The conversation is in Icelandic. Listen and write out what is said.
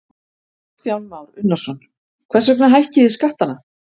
Kristján Már Unnarsson: Hvers vegna hækkið þið skattana?